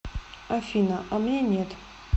афина а мне нет